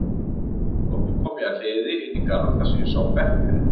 Loks kom ég að hliði inn í garð þar sem ég sá bekk fyrir innan.